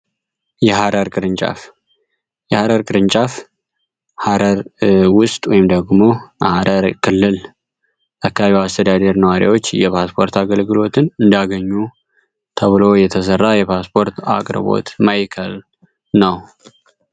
የሃረር ቅርንጫፍ የሀረር ቅርንጫፍ ሃረር ውስጥ ወይም ደግሞ አረር ክልል አካቢው አስተዳዴር ነዋሪያዎች የፓስፖርት አገልግሎትን እንዳገኙ ተብሎ የተሠራ የፓስፖርት አቅርቦት ማይከል ነው።